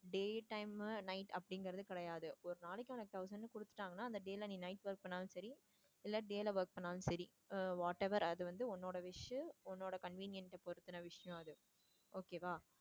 day time உ night அப்படிங்கறது கிடையாது ஒரு நாளைக்கு அந்த thousand கொடுத்துட்டாங்கன்னா அந்த day ல நீ night work பண்ணாலும் சரி இல்ல day ல work பண்ணாலும் சரி whatever அது வந்து உன்னோட wish உன்னோட convenient அ பொறுத்துன விஷயம் அது okay வா.